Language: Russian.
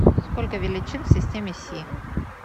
сколько величин в системе си